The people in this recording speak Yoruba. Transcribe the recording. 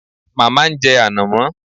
Màmá ń jẹ ànàmọ́